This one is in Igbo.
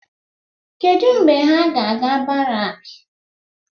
Kedụ mgbe ha ga-aga barak?